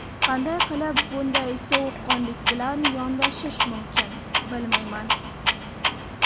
Qanday qilib bunday sovuqqonlik bilan yondashish mumkin, bilmayman.